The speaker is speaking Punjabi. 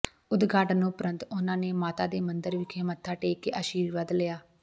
ਉਦਘਾਟਨ ਉਪਰੰਤ ਉਨ੍ਹਾਂ ਨੇ ਮਾਤਾ ਦੇ ਮੰਦਰ ਵਿਖੇ ਮੱਥਾ ਟੇਕ ਕੇ ਅਸ਼ੀਰਵਾਦ ਲਿਆ